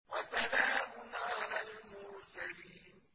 وَسَلَامٌ عَلَى الْمُرْسَلِينَ